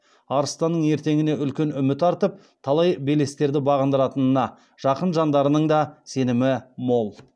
арыстанның ертеңіне үлкен үміт артып талай белестерді бағындыратынына жақын жандарының да сенімі мол